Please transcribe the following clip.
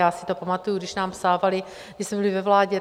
Já si to pamatuji, když nám psávali, když jsme byli ve vládě.